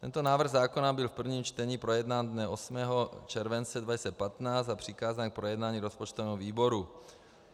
Tento návrh zákona byl v prvním čtení projednán dne 8. července 2015 a přikázán k projednání rozpočtovému výboru.